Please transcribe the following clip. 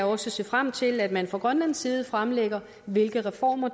også se frem til at man fra grønlands side fremlægger hvilke reformer